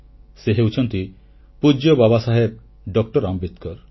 ସେ ହେଉଛନ୍ତି ପୂଜ୍ୟ ବାବାସାହେବ ଡଃ ଆମ୍ବେଦକର